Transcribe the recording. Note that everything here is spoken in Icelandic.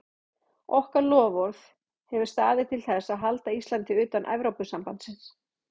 Okkar loforð hefur staðið til þess að halda Íslandi utan Evrópusambandsins.